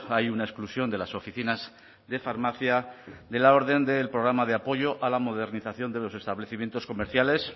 hay una exclusión de las oficinas de farmacia de la orden del programa de apoyo a la modernización de los establecimientos comerciales